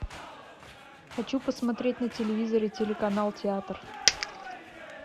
хочу посмотреть на телевизоре телеканал театр